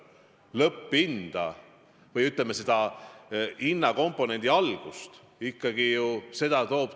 Räägime lõpphinnast või hinnakomponendi algusest.